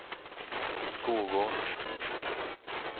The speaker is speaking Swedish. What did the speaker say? Skogås